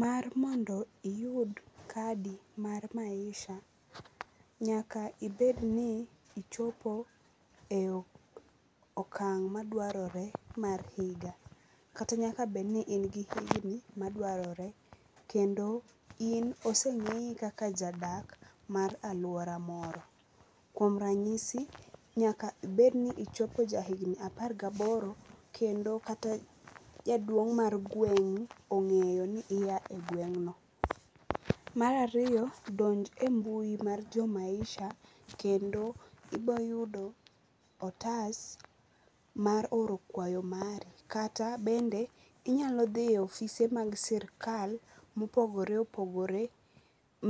Mar mondo iyud kadi mar Maisha nyaka iedni ichopo e okang madware mar higa, kata nyaka bedni in gi higni madwarore kendo in osengeyi kaka jadak mar aluora moro. Kuom ranyisi nyak aibedni ichopo ja higni apar gaboro kendo kata jaduong mar gweng ongeyo ni iya e gweng no. Mar ariyo donj e mbui mar jo Maisha kendo ibo yudo otas mar oro kwayo mari kata bende inyalo dhiyo e ofise mag sirkal ma opogore opogore